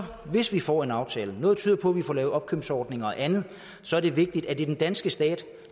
hvis vi får en aftale noget tyder på at vi får lavet opkøbsordninger og andet så er det vigtigt at det er den danske stat